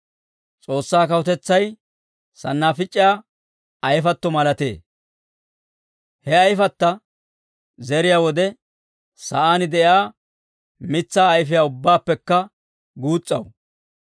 S'oossaa kawutetsay sannaafic'iyaa ayfatto malatee. He ayfatta zeriyaa wode, sa'aan de'iyaa mitsaa ayfiiyaa ubbaappekka guus's'aw;